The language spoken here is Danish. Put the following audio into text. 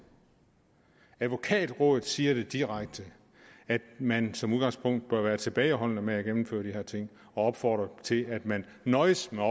advokatrådet siger direkte at man som udgangspunkt bør være tilbageholdende med at gennemføre de her ting og opfordrer til at man nøjes med at